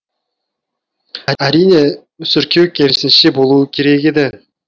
әрине мүсіркеу керісінше болуы керек еді